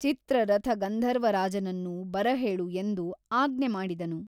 ಚಿತ್ರರಥ ಗಂಧರ್ವರಾಜನನ್ನು ಬರಹೇಳು ಎಂದು ಆಜ್ಞೆ ಮಾಡಿದನು.